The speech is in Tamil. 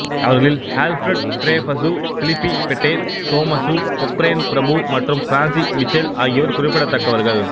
அவர்களில் Alfred Dreyfus Philippe Petain Thomas Cochrane பிரபு மற்றும் பிரான்சிசு மிச்செல் ஆகியோர் குறிப்பிடத்தக்கவர்கள்